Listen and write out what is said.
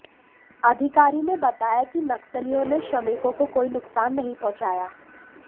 अधिकारी ने बताया कि नक्सलियों ने श्रमिकों को कोई नुकसान नहीं पहुंचाया